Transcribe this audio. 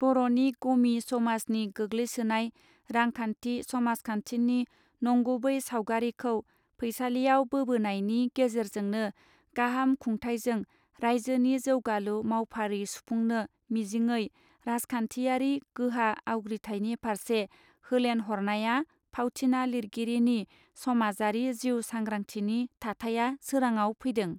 बरनि गमि समाजनि गोग्लैसोनाय रांखान्थि समाजखान्थिनि नंगुबै सावगारिखौ फैसालियाव बोबोनायनि गेजेरेजोंनो गाहाम खुंथायजों राइजोनि जौगालु मावफारि सुफुंनो मिजिङै राजखान्थियारि गोहा आवग्रिथायनि फार्से होलेन हरनाया फावथिना लिरगिरिनि समाजारि जिउ सांग्राथिनि थाथाया सोराङाव फैदों.